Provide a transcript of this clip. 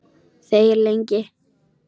Þegir lengi.